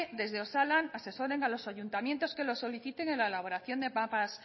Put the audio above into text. desde osalan asesoren a los ayuntamientos que lo soliciten en la elaboración de mapas